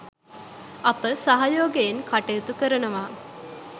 අප සහයෝගයෙන් කටයුතු කරනවා